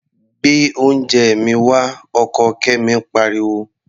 Gbé oúnjẹ mi wá! Ọkọ Kẹ́mi pariwo.